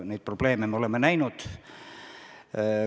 Neid probleeme me oleme näinud.